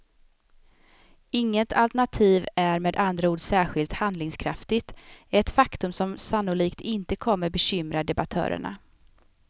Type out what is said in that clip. Inget alternativ är med andra ord särskilt handlingskraftigt, ett faktum som sannolikt inte kommer bekymra debattörerna.